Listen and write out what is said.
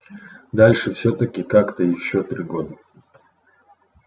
дальше всё-таки как-то ещё три года